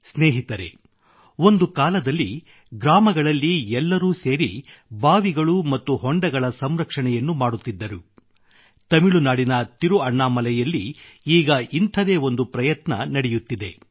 ಸ್ನೇಹಿತರೆ ಒಂದು ಕಾಲದಲ್ಲಿ ಗ್ರಾಮಗಳಲ್ಲಿ ಎಲ್ಲರೂ ಸೇರಿ ಬಾವಿಗಳು ಮತ್ತು ಹೊಂಡಗಳ ಸಂರಕ್ಷಣೆಯನ್ನು ಮಾಡುತ್ತಿದ್ದರು ತಮಿಳುನಾಡಿನ ತಿರುಅಣ್ಣಾಮಲೈಯಲ್ಲಿ ಈಗ ಇಂಥದೇ ಒಂದು ಪ್ರಯತ್ನ ನಡೆಯುತ್ತಿದೆ